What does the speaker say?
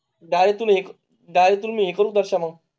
चालताना गाडी तून एक डाल तुम्ही करू दर्शन मग.